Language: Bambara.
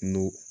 N go